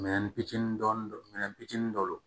Minɛn fitinin dɔɔni don minɛn fitinin dɔw don